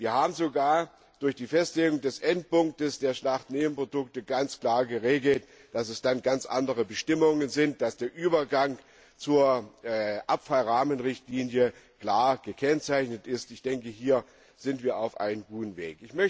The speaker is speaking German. Wir haben sogar durch die Festlegung des Endpunkts der Schlachtnebenprodukte ganz klar geregelt, dass es dann ganz andere Bestimmungen sind, dass der Übergang zur Abfallrahmenrichtlinie klar gekennzeichnet ist. Ich denke, hier sind wir auf einem guten Weg.